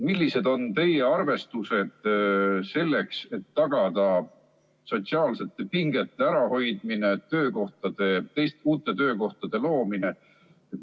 Millised on teie arvestused selleks, et tagada sotsiaalsete pingete ärahoidmine ja uute töökohtade loomine?